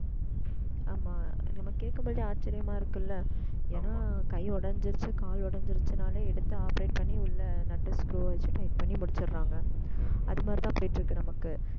ஆமா, நம்ம கேக்கும் போதே ஆச்சரியமா இருக்குல்ல. ஏன்னா கை உடைஞ்சிருச்சு கால் உடைஞ்சிருச்சுன்னாலே எடுத்து operate பண்ணி உள்ளே நட்டு வச்சு, tight பண்ணி முடிச்சர்றாங்க. அந்த மாதிரிதான் போய்ட்டுருக்கு நமக்கு